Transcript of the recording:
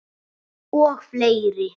Og fleiri.